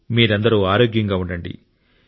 మీరందరూ ఆరోగ్యంగా ఉండండి